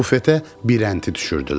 Bufetə birənti düşürdülər.